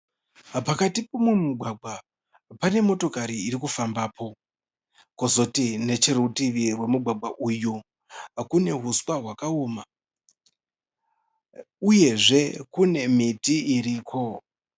Pakati pemumugwagwa pane motokari iri kufambapo. Kozoti necherutivi rwemugwagwa uyu kune huswa hwakaoma uyezve kune miti iriko.